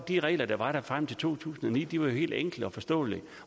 de regler der var der frem til to tusind og ni var helt enkle og forståelige